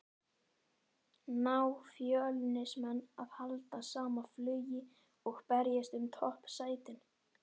Ná Fjölnismenn að halda sama flugi og berjast um toppsætin?